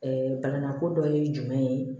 balanako dɔ ye jumɛn ye